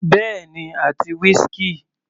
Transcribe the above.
Bẹ́ẹ̀ni àti whisky.